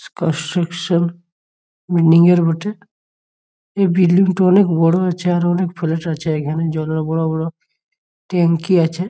পার section engineer বটে | এই building টো অনেক বড় আছে | আর অনেক ফ্ল্যাট আছে | এইখানে জলের বড় বড় ট্যাঙ্কি আছে ।